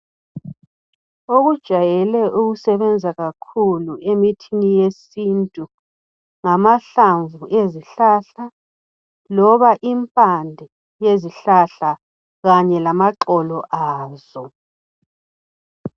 Okujwayele ukusebenza kakhulu emithini yesintu ngamahlamvu ezihlahla loba impande yezihlahla kanye lamaxolo azo.